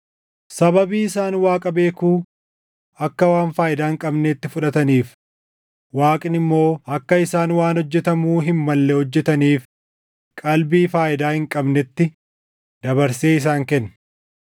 Sababii isaan Waaqa beekuu akka waan faayidaa hin qabneetti fudhataniif, Waaqni immoo akka isaan waan hojjetamuu hin malle hojjetaniif qalbii faayidaa hin qabnetti dabarsee isaan kenne.